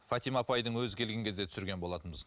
фатима апайдың өзі келген кезде түсірген болатынбыз